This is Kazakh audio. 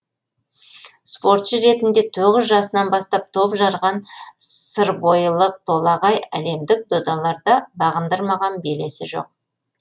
спортшы ретінде тоғыз жасынан бастап топ жарған сырбойылық толағай әлемдік додаларда бағындырмаған белесі жоқ